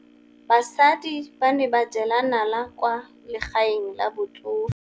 Basadi ba ne ba jela nala kwaa legaeng la batsofe.